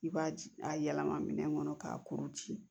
I b'a a yɛlɛma minɛn kɔnɔ k'a kuru ci